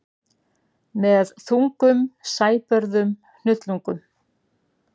Með þungum sæbörðum hnullungum.